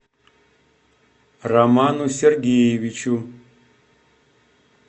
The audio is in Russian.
роману сергеевичу